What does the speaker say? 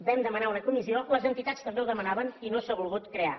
vam demanar una comissió les entitats també ho demanaven i no s’ha volgut crear